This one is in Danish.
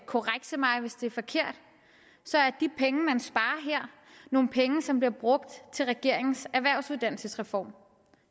korrekse mig hvis det er forkert så er de penge man sparer her nogle penge som bliver brugt til regeringens erhvervsuddannelsesreform